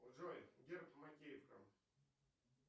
джой герб макеевка